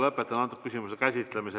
Lõpetan selle küsimuse käsitlemise.